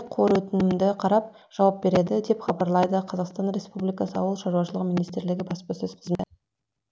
қор өтінімді қарап жауап береді деп хабарлайды қазақстан республикасы ауыл шаруашылығы министрлігі баспасөз қызмет